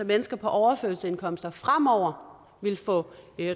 mennesker på overførselsindkomster fremover vil få